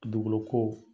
Dugukolo ko